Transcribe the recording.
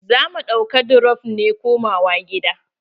Za mu ɗauka dirop ne komawa gida.